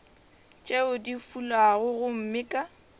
tšeo di fulago gomme ka